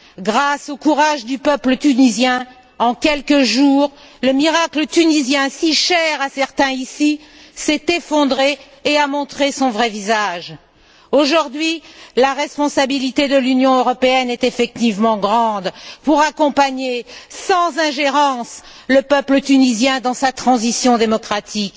Grâce au courage du peuple tunisien, en quelques jours le miracle tunisien, si cher à certains ici, s'est effondré et a montré son vrai visage. Aujourd'hui, la responsabilité de l'Union européenne est effectivement grande pour accompagner sans ingérence le peuple tunisien dans sa transition démocratique.